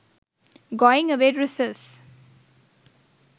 going away dresses